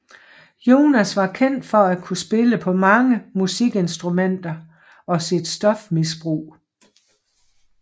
Jones var kendt for at kunne spille på mange musikinstrumenter og sit stofmisbrug